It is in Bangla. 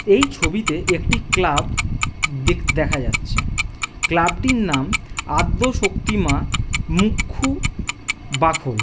এই ছবিতে একটি ক্লাব দেখা যাচ্ছে । ক্লাব -টির নাম আদ্যশক্তি মা মুখ্য বাকল ।